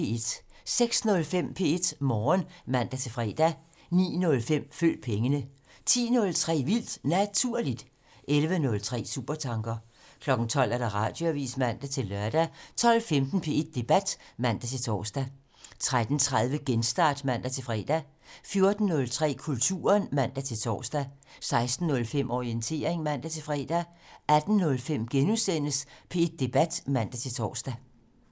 06:05: P1 Morgen (man-fre) 09:05: Følg pengene 10:03: Vildt Naturligt 11:03: Supertanker 12:00: Radioavisen (man-lør) 12:15: P1 Debat (man-tor) 13:30: Genstart (man-fre) 14:03: Kulturen (man-tor) 16:05: Orientering (man-fre) 18:05: P1 Debat *(man-tor)